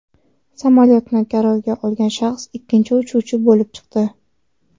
Samolyotni garovga olgan shaxs ikkinchi uchuvchi bo‘lib chiqdi.